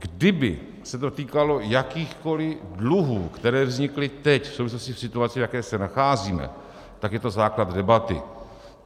Kdyby se to týkalo jakýchkoli dluhů, které vznikly teď v souvislosti se situací, v jaké se nacházíme, tak je to základ debaty.